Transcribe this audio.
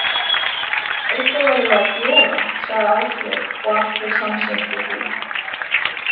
Eitthvað verðum við að gera, sagði Áslaug og allir samsinntu því.